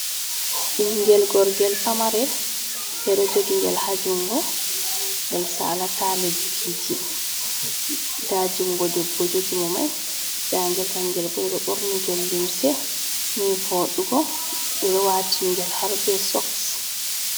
Bingel gorgel pamarel be do jogi ngel hajungo, ngel sala ta lebbiji da jungo debbo jogi mo mai da gel kangel bo bedo borni ngel limse nivodugo be do watini gel har be soks.